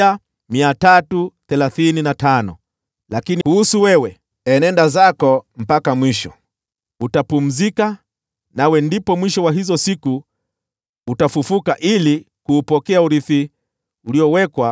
“Lakini wewe, enenda zako mpaka mwisho. Utapumzika, nawe ndipo mwisho wa hizo siku utafufuka ili kuupokea urithi uliowekewa.”